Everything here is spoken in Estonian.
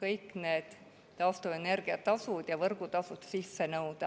kõik need taastuvenergia tasud ja võrgutasud sisse nõuda.